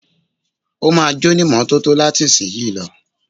Ó ma jónímọ́tótó láti ìsìnyí lọ.